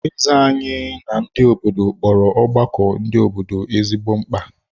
Eze anyị ndị obodo kpọrọ ọgbakọ ndị obodo ezigbo mkpa.